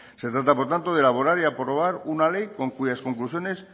se trata por tanto de elaborar y aprobar una ley con cuyas conclusiones